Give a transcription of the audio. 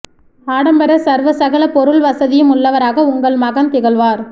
ஆடம்பர சர்வ சகலபொருள் வசதியும் உள்ளவராக உங்கள் மகன் திகழ்வார்